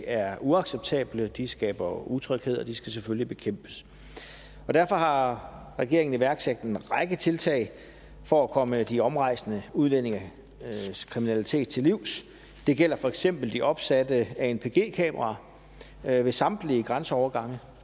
er uacceptable de skaber utryghed og de skal selvfølgelig bekæmpes derfor har regeringen iværksat en række tiltag for at komme de omrejsende udlændinges kriminalitet til livs det gælder for eksempel de opsatte anpg kameraer ved ved samtlige grænseovergange